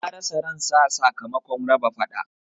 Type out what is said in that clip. Ya rasa ran sa sakamakon raba faɗa